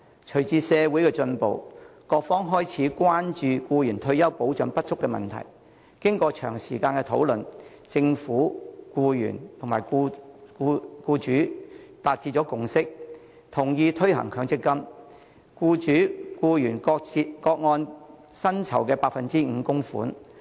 隨着社會進步，各方開始關注僱員退休保障不足的問題，經過長時間討論，政府、僱主及僱員達致共識，同意推行強制性公積金計劃，僱主和僱員各按薪酬 5% 供款。